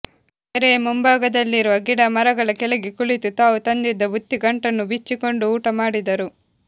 ಕೆರೆಯ ಮುಂಭಾಗದಲ್ಲಿರುವ ಗಿಡ ಮರಗಳ ಕೆಳಗೆ ಕುಳಿತು ತಾವು ತಂದಿದ್ದ ಬುತ್ತಿಗಂಟನ್ನು ಬಿಚ್ಚಿಕೊಂಡು ಊಟ ಮಾಡಿದರು